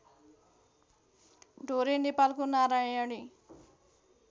ढोरे नेपालको नारायणी